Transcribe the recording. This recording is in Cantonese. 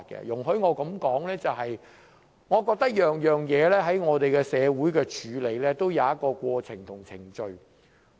容許我提出一點，就是我認為我們的社會在處理各種事宜時均有一套過程和程序。